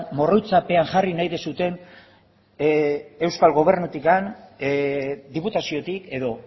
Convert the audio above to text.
morroitzapean jarri nahi duzuen eusko gobernutik diputaziotik edo